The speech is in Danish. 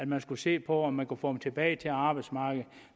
man skulle se på om man kunne få dem tilbage til arbejdsmarkedet